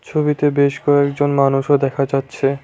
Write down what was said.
ছবিতে বেশ কয়েকজন মানুষও দেখা যাচ্ছে।